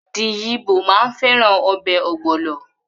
The yibo maa n feran obe ogbolo